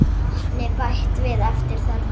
Vatni bætt við eftir þörfum.